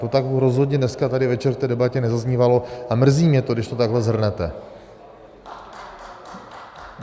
To tak rozhodně dneska tady večer v té debatě nezaznívalo a mrzí mě to, když to takhle shrnete.